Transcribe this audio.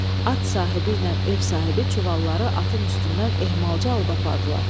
At sahibi ilə ev sahibi çuvalları atın üstündən ehmalca alıb apardılar.